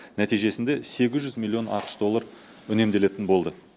нәтижесінде сегіз жүз миллион ақш доллар үнемделетін болды